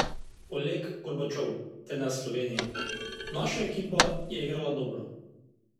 Oleg Gorbačov, trener Slovenije: "Naša ekipa je igrala dobro.